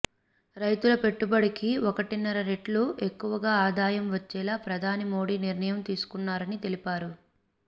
రైతుల పెట్టుబడికి ఒకటిన్నర రెట్లు ఎక్కువగా ఆదాయం వచ్చేలా ప్రధాని మోడీ నిర్ణయం తీసుకున్నారని తెలిపారు